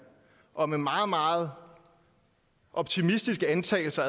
og med meget meget optimistiske antagelser